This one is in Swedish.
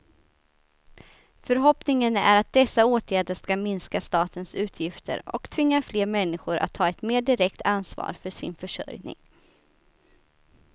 Förhoppningen är att dessa åtgärder skall minska statens utgifter och tvinga fler människor att ta ett mer direkt ansvar för sin försörjning.